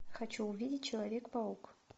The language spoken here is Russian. хочу увидеть человек паук